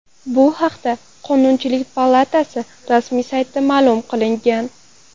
Bu haqda Qonunchilik palatasi rasmiy saytida ma’lum qilingan .